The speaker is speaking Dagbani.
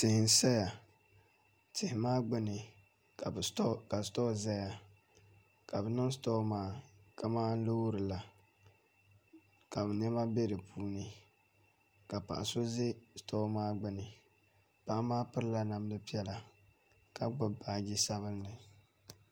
tihi n-saya tihi maa gbuni ka sitɔɔ zaya ka bɛ niŋ sitɔɔ maa kamani loori la ka bɛ nɛma be di puuni ka paɣa so za sitɔɔ maa gbuni paɣa maa pirila namdi piɛlla ka gbibi baaji sabinli